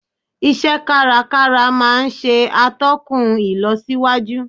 Ise kárakára maa n se atókùn ilosíwájú